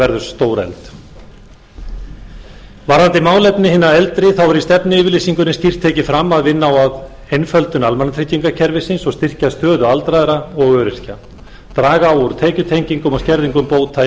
verður stórefld varðandi málefnin hinna eldri er í stefnuyfirlýsingunni skýrt tekið fram að vinna á að einföldun almannatryggingakerfisins og styrkja stöðu aldraðra og öryrkja draga á úr tekjutengingum og skerðingum bóta í